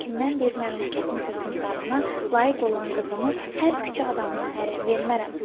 Lakin mən bir məmləkətin hökmdarına layiq olan qızımı hər küçə adamına ərə vermərəm.